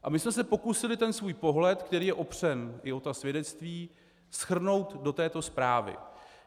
A my jsme se pokusili ten svůj pohled, který je opřen i o ta svědectví, shrnout do této zprávy.